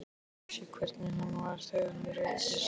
Ég vissi hvernig hann var þegar hann reiddist.